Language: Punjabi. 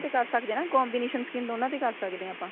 ਤੇ ਕ਼ਰ ਸਕਦੇ ਆ ਨਾ combination skin ਦੋਨਾ ਤੇ ਕ਼ਰ ਸਕਦੇ ਆ ਆਪਾਂ